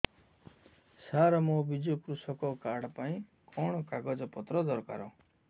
ସାର ମୋର ବିଜୁ କୃଷକ କାର୍ଡ ପାଇଁ କଣ କାଗଜ ପତ୍ର ଦରକାର